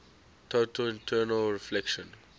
total internal reflection